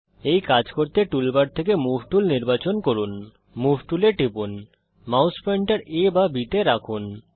এই কাজ করতে টুল বার থেকে মুভ টুল নির্বাচন করুন মুভ টুলে টিপুন মাউস পয়েন্টার A বা Bতে রাখুন